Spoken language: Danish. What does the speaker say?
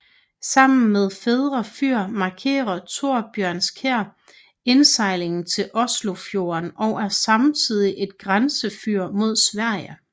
Sammen med Færder fyr markerer Torbjønskjær indsejlingen til Oslofjorden og er samtidig et grænsefyr mod Sverige